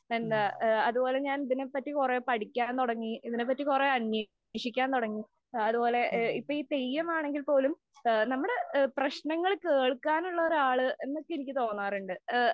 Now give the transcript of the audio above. എന്താ അതുപോലെ ഞാന്‍ ഇതിനെ പറ്റി കൊറേ പഠിക്കാന്‍ തുടങ്ങി. ഇതിനെ പറ്റി കൊറേ അന്വേഷിക്കാന്‍ തൊടങ്ങി. അതുപോലെ അപ്പൊ ഈ തെയ്യമാണെങ്കില്‍ പോലും നമ്മടെ പ്രശ്നങ്ങള്‍ കേള്‍ക്കാനുള്ള ഒരാള് എന്നൊക്കെ എനിക്ക് തോന്നാറുണ്ട്.